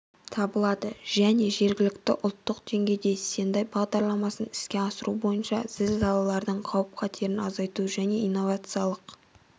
табылады және жергілікті ұлттық деңгейде сендай бағдарламасын іске асыру бойынша зілзалалардың қауіп-қатерін азайту және инновациялық